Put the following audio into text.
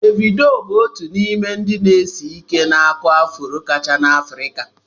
Devido bụ otu n'ime ndị na-ese ihe na-akụ afro kacha na Afrika.